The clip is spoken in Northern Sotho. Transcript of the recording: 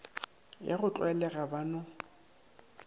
ya go tlwaelega ba no